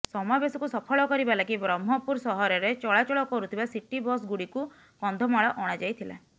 ସମାବେଶକୁ ସଫଳ କରିବା ଲାଗି ବ୍ରହ୍ମପୁର ସହରରେ ଚଳାଚଳ କରୁଥିବା ସିଟି ବସ୍ଗୁଡିକୁ କନ୍ଧମାଳ ଅଣାଯାଇଥିଲା